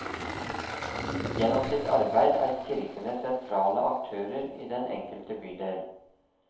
Gjennom sitt arbeid er kirkene sentrale aktører i den enkelte bydel.